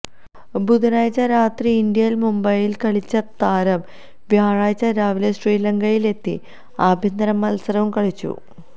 ബുധനാഴ്ച രാത്രി ഇന്ത്യയില് മുംബൈയില് കളിച്ച താരം വ്യാഴാഴ്ച രാവിലെ ശ്രീലങ്കയിലെത്തി ആഭ്യന്തര മത്സരവും കളിച്ചു